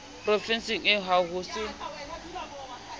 provenseng eo ha ho se